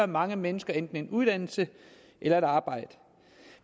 mange mennesker en uddannelse eller et arbejde